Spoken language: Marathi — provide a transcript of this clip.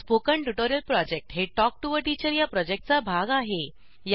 स्पोकन ट्युटोरियल प्रॉजेक्ट हे टॉक टू टीचर या प्रॉजेक्टचा भाग आहे